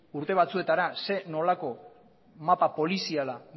urte batzuetara zein nolako mapa poliziala